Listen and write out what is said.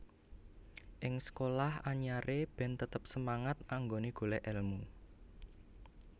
Ing sekolah anyare ben tetep semangat anggone golek elmu